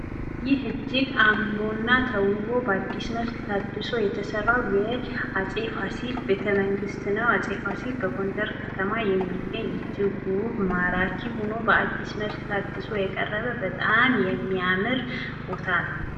ይህ እጅግ አእምሮና ተውቦ በአዲስ መልክ ታድሶ የተሰራው የአጼ ፋሲል ቤተ መንግስት ነው። አጼ ፋሲል በጎንደር ከተማ የሚገኝ እጅግ ውብ ማራኪ ሆኖ በአዲስ መልክ ታድሶ የቀረበ በጣም የሚያምር ቦታ ነው።